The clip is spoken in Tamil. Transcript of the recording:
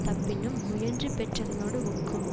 தப்பினும் முயன்று பெற்றதனோடு ஒக்கும்